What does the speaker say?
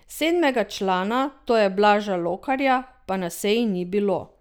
Sedmega člana, to je Blaža Lokarja, pa na seji ni bilo.